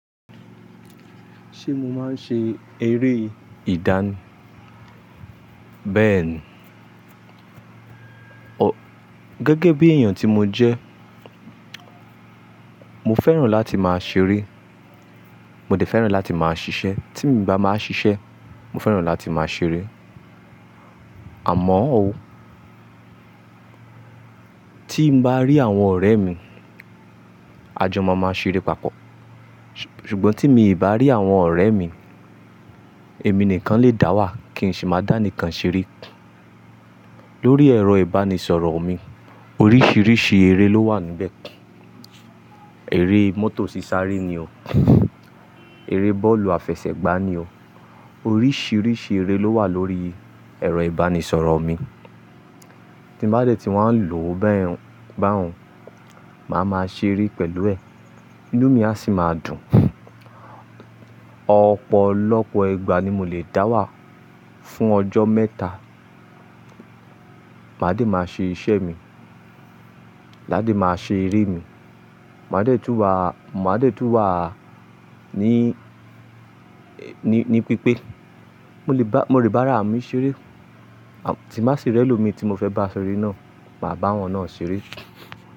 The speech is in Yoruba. Ṣé mo máa ń ṣe eré ìdáni? Béèni. Ọ gẹ́gẹ́ bí èèyàn tí mo jẹ́, mo fẹ́ràn láti máa ṣeré, mo dẹ̀ fẹ́ràn láti máa ṣiṣẹ́. Tí m bá máa ṣiṣẹ́, mo fẹ́ràn láti máa ṣeré. Àmọ́ ó, tí m bá rí àwọn ọ̀rẹ́ mi, a jọ máa máa ṣeré papọ̀. Ṣùgbọ́n tí mi ì bá rí àwọn ọ̀rẹ́ mi, èmi nìkan lè dá wà, kí n sì máa dá nìkan ṣeré. Lórí ẹ̀rọ ìbánisọ̀rọ̀ mi, oríṣiríṣi eré ló wà níbẹ̀. Eré mọ́tò sísáré ni o, eré bọ́ọ̀lù àfẹsẹ̀gbá ni o. Oríṣiríṣi eré ló wà lórí ẹ̀rọ ìbánisọ̀rọ̀ mi. Tí mo bá dẹ̀ ti wá n lò ó bẹ́ẹ̀ báun, màá máa ṣeré pẹ̀lú ẹ̀. Inú mi a sì máa dùn. Ọ̀pọ̀lọpọ̀ igba ni mo lè dá wà fún ọjọ́ mẹ́ta. Màá dẹ̀ máa ṣe iṣẹ́ mi, maa dẹ̀ máa ṣe eré mi. Màá dẹ̀ tún wà, mó máa dẹ̀ tún wà á ní, ní pípé. Mo lè bá, mo le bára mi ṣeré. Tí m ba sì rí ẹlòmíí tí mo fẹ́ bá ṣeré náà, màá bá wọn náà ṣeré.